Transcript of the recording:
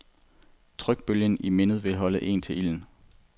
Trykbølgen i mindet vil holde en til ilden.